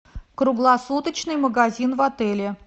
круглосуточный магазин в отеле